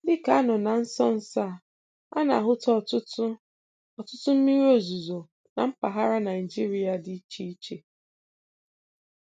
Dịka a nọ na nsonso a, a na-ahụta ọtụtụ ọtụtụ mmiri ozuzo na mpaghara Naịjirịa dị iche iche.